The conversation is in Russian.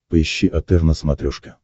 поищи отр на смотрешке